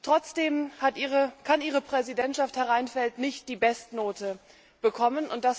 Trotzdem kann Ihre Präsidentschaft, Herr Reinfeldt, nicht die Bestnote bekommen.